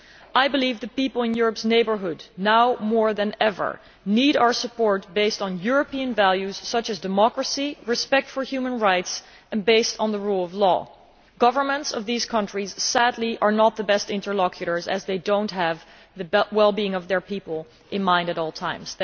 I believe the people in Europe's neighbourhood now more than ever need our support based on European values such as democracy, respect for human rights and based on the rule of law. Governments of these countries sadly are not the best interlocutors as they do not have the well being of their people in mind at all times.